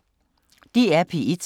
DR P1